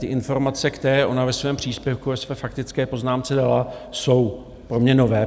Ty informace, které ona ve svém příspěvku, ve své faktické poznámce dala, jsou pro mě nové.